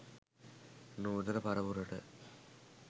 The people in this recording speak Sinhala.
නූතන පරපුරට